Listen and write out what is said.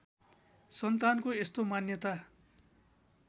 सन्तानको यस्तो मान्यता